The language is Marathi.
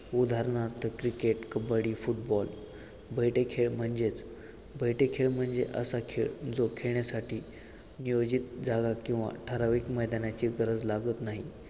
उदाहरणार्थ क्रिकेट कबड्डी फुटबॉल बैठे खेळ म्हणजेच बैठे खेळ म्हणजे असा खेळ जो खेळण्यासाठी नियोजित जागा किंवा ठराविक मैदानाची गरज लागत नाही.